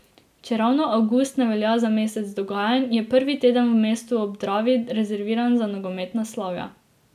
Čeravno avgust ne velja za mesec dogajanj, je prvi teden v mestu ob Dravi rezerviran za nogometna slavja.